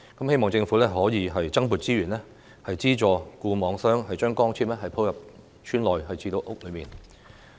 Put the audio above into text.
希望政府可以增撥資源，資助固網商將光纖鋪到村內及屋內。